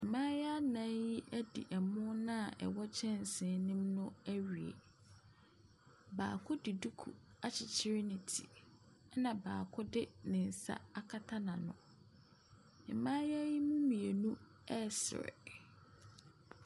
Mmaayewa nnan yi adi ɛmo no a ɛwɔ kyɛnsee no mu no awie. Baako de duku akyekyere ne ti, ɛna baako de nsa akata n'ano. Mmayewa yi m,u mmienu resere.